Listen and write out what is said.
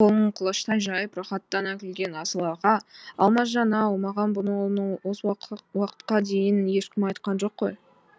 қолын құлаштай жайып рахаттана күлген асыл аға алмасжан ау маған бұны осы уақытқа дейін ешкім айтқан жоқ қой